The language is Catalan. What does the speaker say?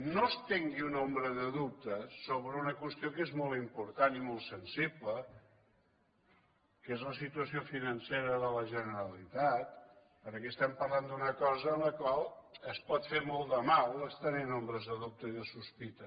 no estengui una ombra de dubte sobre una qüestió que és molt important i molt sensible que és la situació financera de la generalitat perquè estem parlant d’una cosa en la qual es pot fer molt de mal estenent ombres de dubte i de sospita